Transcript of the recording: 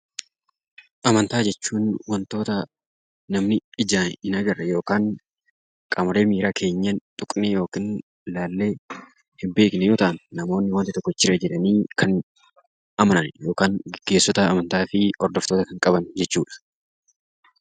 Amantaa jechuun wantoota namni ijaan hin agarre yookiin qaamolee miiraa keenyaan tuqnee ilaallee hin beekne yoo ta'u, jira jedhanii kan amanamudha. Yookaan gaggeessitoota amantaa fi hordoftoota kanneen qaban jechuudha.